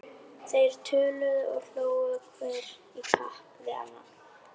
Þeir töluðu og hlógu hver í kapp við annan.